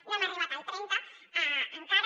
no hem arribat al trenta encara